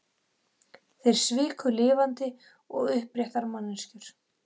Þeir sviku lifandi og uppréttar manneskjur.